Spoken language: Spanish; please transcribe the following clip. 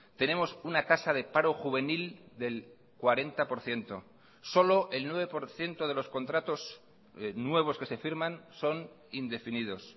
tenemos una tasa de paro juvenil del cuarenta por ciento solo el nueve por ciento de los contratos nuevos que se firman son indefinidos